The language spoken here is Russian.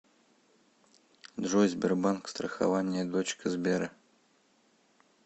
джой сбербанк страхование дочка сбера